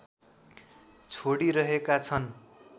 छोडिरहेका छन्